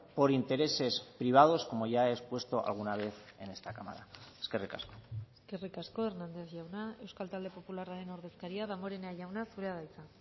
por intereses privados como ya he expuesto alguna vez en esta cámara eskerrik asko eskerrik asko hernández jauna euskal talde popularraren ordezkaria damborenea jauna zurea da hitza